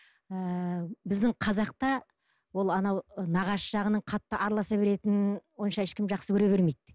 ыыы біздің қазақта ол анау нағашы жағының қатты араласа беретінін онша ешкім жақсы көре бермейді